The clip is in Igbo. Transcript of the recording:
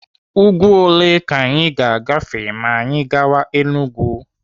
Úgwú ole ka anyị ga-agafe ma anyị gawa Enugu?